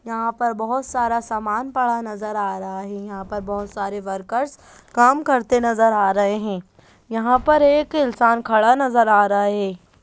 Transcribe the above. यहा पे बहोत सारा समान पड़ा नजर आ रहा है यहा पर बहोत सारे वर्कर्स काम करते नजर आ रहे है यहा पर एक इंसान खड़ा नजर आ रहा है।